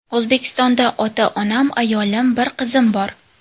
O‘zbekistonda ota-onam, ayolim, bir qizim bor.